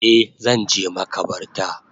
A Zanje makabarta